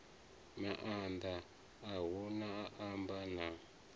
maanḓa a u amba na